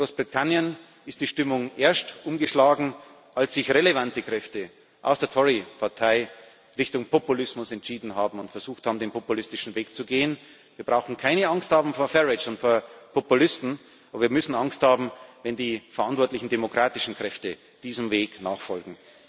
In Großbritannien ist die Stimmung erst umgeschlagen, als sich relevante Kräfte aus der Tory Partei Richtung Populismus entschieden und versucht haben, den populistischen Weg zu gehen. Wir brauchen vor Farage und vor Populisten keine Angst zu haben, aber wir müssen Angst haben, wenn die verantwortlichen demokratischen Kräfte diesem Weg nachfolgen.